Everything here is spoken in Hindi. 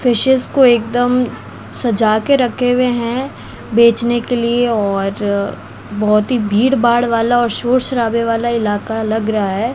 फिशेज को एकदम सजा के रखे हुए हैं बेचने के लिए और बहोत ही भीड़ भाड़ वाला और शोर शराबे वाला इलाका लग रहा है।